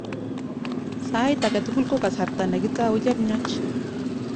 Sait age tugul ko kasarta ne kitou chemiach